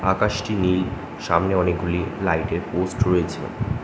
আকাশটি নীল সামনে অনেকগুলি লাইট এর পোস্ট রয়েছে।